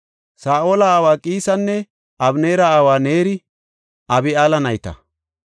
Saa7ola aawa Qiisinne Abeneera aawa Neeri Abi7eela nayta.